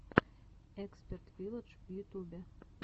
эксперт вилладж в ютубе